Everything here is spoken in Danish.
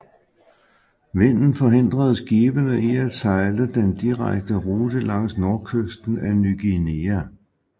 Vinden forhindrede skibene i at sejle den direkte rute langs nordkysten af Ny Guinea